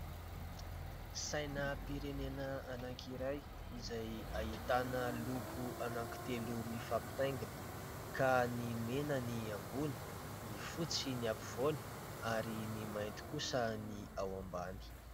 Sainam-pirenena anankiray izay ahitana loko anankitelo mifampitaingina ka ny mena ny ambony, ny fotsy ny ampovoany ary ny mainty kosa ny ao ambany.